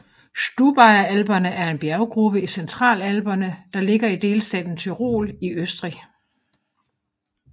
Stubaier Alperne er en bjerggruppe i Centralalperne der ligger i delstaten Tyrol i Østrig